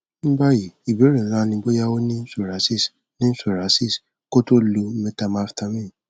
ní báyìí ìbéèrè ńlá ni bóyá o ní psoriasis ní psoriasis kí o tó lo methamphetamine